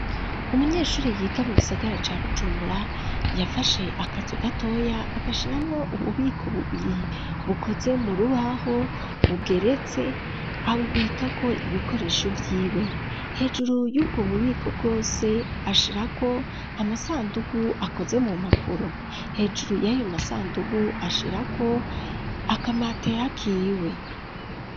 Umunyeshuri yiga mu gisagara ca Bujumbura, yafashe akazu gatoya agashiramwo ububiko bubiri, bukoze mu rubaho bugeretse, abubika ko ibikoresho vy'iwe ,hejuru y'ubwo bubiko bwose ashirako amasandugu akoze mu mpapuro, hejuru y'ayo masandugu ashira ko akamatera kiwe.